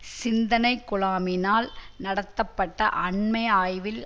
சிந்தனைக்குழாமினால் நடத்தப்பட்ட அண்மை ஆய்வில்